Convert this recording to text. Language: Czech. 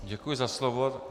Děkuji za slovo.